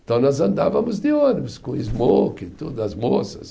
Então, nós andávamos de ônibus, com smoke, todas as moças.